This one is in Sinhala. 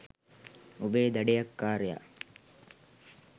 ඔබේ දඩයක්කාරයා